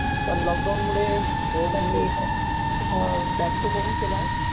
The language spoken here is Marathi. पण लॉक डाऊन मुळे त्यांनी बॅक टु होम केलं.